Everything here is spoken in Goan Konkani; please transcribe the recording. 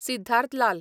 सिद्धार्थ लाल